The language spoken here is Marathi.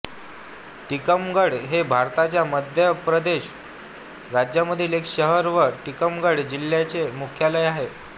टीकमगढ हे भारताच्या मध्य प्रदेश राज्यामधील एक शहर व टीकमगढ जिल्ह्याचे मुख्यालय आहे